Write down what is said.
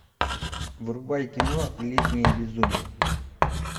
врубай кино летнее безумие